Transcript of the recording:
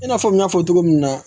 I n'a fɔ n y'a fɔ cogo min na